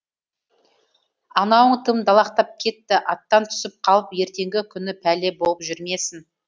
анауың тым далақтап кетті аттан түсіп қалып ертеңгі күні пәле болып жүрмесін